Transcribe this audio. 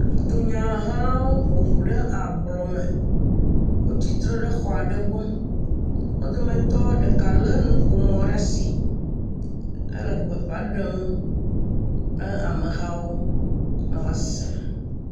Dunyahelawo ƒoƒu ɖe ablɔme, wotsitre ɖe xɔ aɖe gbɔ, wo dometɔ ɖeka lé nuƒomɔ ɖe asi ele gbe fã ɖem na amehawo be woasẽ.